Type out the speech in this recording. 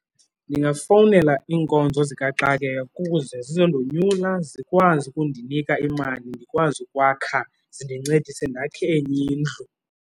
Ndingafowunela iinkonzo zikaxakeka kuze zizondonyula zikwazi ukundinika imali, ndikwazi ukwakha zindincedise ndakhe enye indlu.